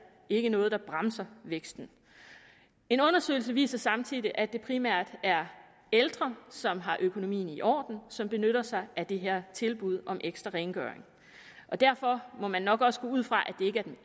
ikke noget der bremser væksten en undersøgelse viser samtidig at det primært er ældre som har økonomien i orden som benytter sig af det her tilbud om ekstra rengøring derfor må man nok også gå ud fra